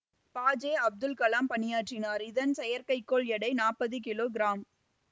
ப ஜெ அப்துல் கலாம் பணியாற்றினார் இதன் செயற்கை கோள் எடை நாப்பது கிலோ கிராம்